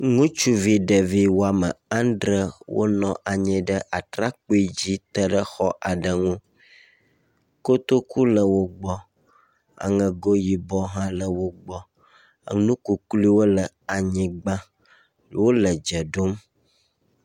Ŋutsuvi ɖevi woame andre wonɔ anyi ɖe atrakpui dzi te ɖe xɔ aɖe ŋu. Kotoku le wo gbɔ. Aŋego yibɔ hã le wo gbɔ. Enu kukluiwo le wo gbɔ le anyigba wole dze ɖom.